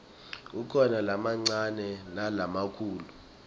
kukhona lamancane nalamakhulu